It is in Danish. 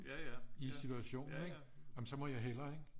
I situationen ikke jamen så må jeg hellere ikke